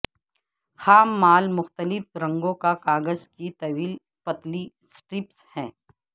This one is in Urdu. خام مال مختلف رنگوں کا کاغذ کی طویل پتلی سٹرپس ہیں